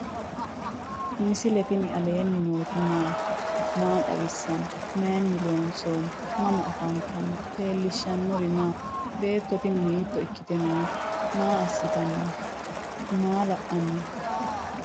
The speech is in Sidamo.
misile tini alenni nooti maati? maa xawissanno? Maayinni loonisoonni? mama affanttanno? leelishanori maati? beetto tini hiitto ikkitte noote? maa asittanni noo? maa la'anni noo?